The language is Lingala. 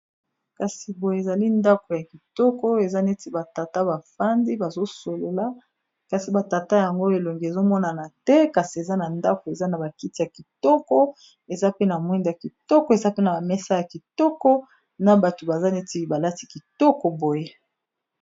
Kasi boye ezali ndako ya kitoko eza neti batata bafandi bazosolola, kasi batata yango elongi ezomonana te kasi eza na ndako eza na bakiti ya kitoko eza pe na mwinda ya kitoko eza pe na bamesa ya kitoko na bato baza neti balati kitoko boye